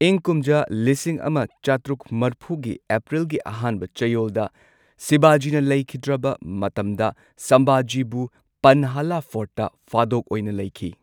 ꯏꯪ ꯀꯨꯝꯖꯥ ꯂꯤꯁꯤꯡ ꯑꯃ ꯆꯥꯇ꯭ꯔꯨꯛ ꯃꯔꯐꯨꯒꯤ ꯑꯦꯄ꯭ꯔꯤꯜꯒꯤ ꯑꯍꯥꯟꯕ ꯆꯌꯣꯜꯗ ꯁꯤꯕꯥꯖꯤꯅ ꯂꯩꯈꯤꯗ꯭ꯔꯕ ꯃꯇꯝꯗ ꯁꯝꯚꯥꯖꯤꯕꯨ ꯄꯟꯍꯥꯂꯥ ꯐꯣꯔꯠꯇ ꯐꯥꯗꯣꯛ ꯑꯣꯏꯅ ꯂꯩꯈꯤ꯫